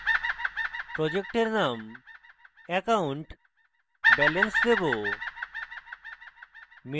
project name account balance দেবো